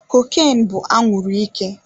Cocaine bụ anwuru ike.